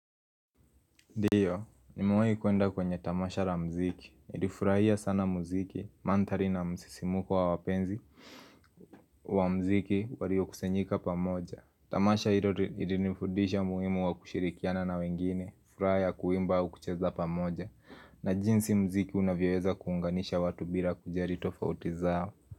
Ndio, nimewahi kuenda kwenye tamasha la mziki. Nilifurahia sana muziki, mandhari na msisimuko wa wapenzi. Wa muziki waliokusanyika pamoja. Tamasha hilo lilinifundisha muhimu wa kushirikiana na wengine. Furaha ya kuimba au kucheza pamoja. Na jinsi muziki unavyoweza kuunganisha watu bila kujali tofauti zao.